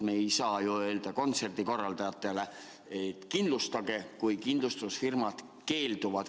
Me ei saa ju öelda kontserdikorraldajatele, et kindlustage, kui kindlustusfirmad keelduvad.